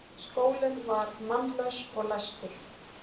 Skólinn var mannlaus og læstur.